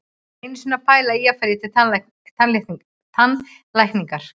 Ég var einu sinni að pæla í að fara í tannlækningar.